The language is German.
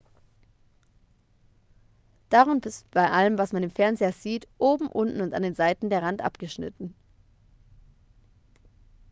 darum ist bei allem was man im fernseher sieht oben unten und an den seiten der rand abgeschnitten